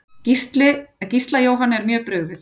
Gísla Jóhanni er mjög brugðið.